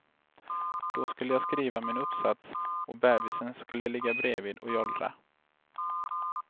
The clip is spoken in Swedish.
Då skulle jag skriva min uppsats och bebisen skulle ligga bredvid och jollra.